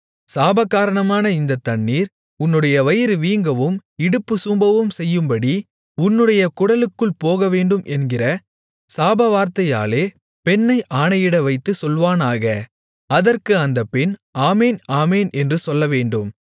சாபகாரணமான இந்த தண்ணீர் உன்னுடைய வயிறு வீங்கவும் இடுப்பு சூம்பவும் செய்யும்படி உன்னுடைய குடலுக்குள் போகவேண்டும் என்கிற சாபவார்த்தையாலே பெண்ணை ஆணையிடவைத்துச் சொல்வானாக அதற்கு அந்தப் பெண் ஆமென் ஆமென் என்று சொல்லவேண்டும்